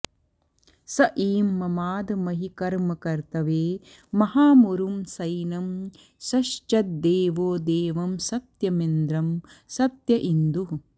स ईं ममाद महि कर्म कर्तवे महामुरुं सैनं सश्चद्देवो देवं सत्यमिन्द्रं सत्य इन्दुः